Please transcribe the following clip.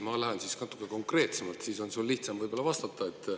Ma lähen natuke konkreetsemaks, siis on sul ehk lihtsam vastata.